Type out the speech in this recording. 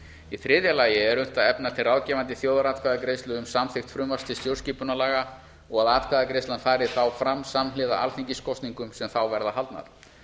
í þriðja lagi er unnt að efna til ráðgefandi þjóðaratkvæðagreiðslu um samþykkt frumvarp til stjórnarskipunarlaga og að atkvæðagreiðslan fari þá fram samhliða alþingiskosningum sem þá verða haldnar